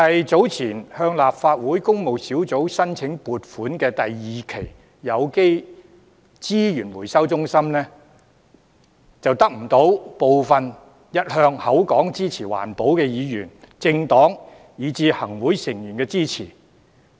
早前提交立法會工務小組委員會審議的有機資源回收中心第二期撥款申請，便得不到部分一向聲稱支持環保的議員、政黨，以至行政會議成員支持。